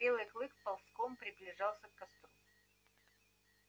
белый клык ползком приближался к костру